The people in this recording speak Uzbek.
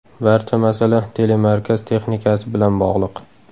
Barcha masala telemarkaz texnikasi bilan bog‘liq.